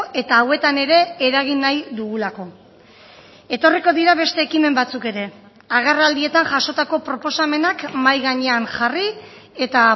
eta hauetan ere eragin nahi dugulako etorriko dira beste ekimen batzuk ere agerraldietan jasotako proposamenak mahai gainean jarri eta